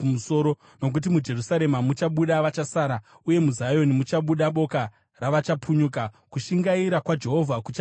Nokuti muJerusarema muchabuda vachasara, uye muZioni muchabuda boka ravachapunyuka. Kushingaira kwaJehovha kuchazviita.